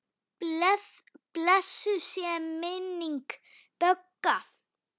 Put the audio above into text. Blessuð sé minning Bögga.